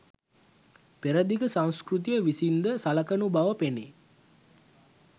පෙරදිග සංස්කෘතිය විසින්ද සලකනු බව පෙනේ.